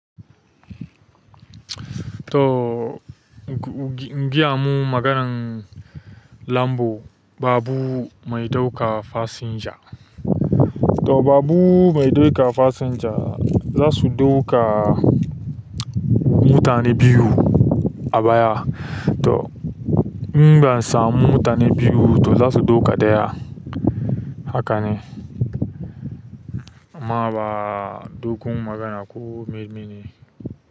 To giya mun maganan lambu, babur mai ɗauka fasinja. To babur mai ɗauka fasinja zasu ɗauka mutane biyu a baya. To in ban samu mutane biyu to zasu ɗauka ɗaya. Haka ne? Amma ba dogon magana ko menene.